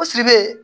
O sirilen